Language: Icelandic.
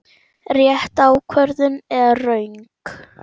Rétt ákvörðun eða röng?